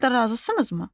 Şərtlə razısınızmı?